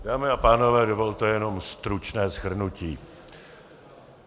Dámy a pánové, dovolte jenom stručné shrnutí.